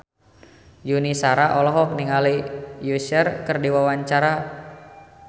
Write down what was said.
Yuni Shara olohok ningali Usher keur diwawancara